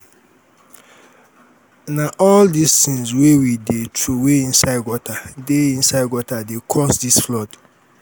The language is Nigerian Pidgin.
na all di tins wey we dey troway inside gutter dey inside gutter dey cause dis flood.